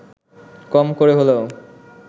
কম করে হলেও